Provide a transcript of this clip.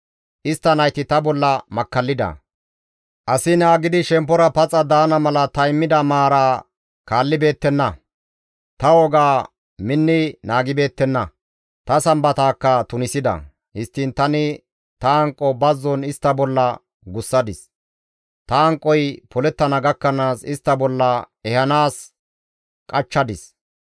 «Istta nayti ta bolla makkallida; asi naagidi shemppora paxa daana mala ta immida maara kaallibeettenna; ta wogaa minni naagibeettenna; ta Sambataakka tunisida. Histtiin tani ta hanqo bazzon istta bolla gussadis; ta hanqoy polettana gakkanaas istta bolla ehanaas qachchadis.